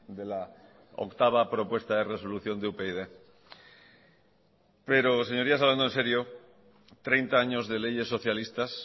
de la octava propuesta de resolución de upyd pero señorías hablando en serio treinta años de leyes socialistas